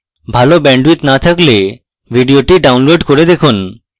ভাল bandwidth না থাকলে ভিডিওটি download করে দেখুন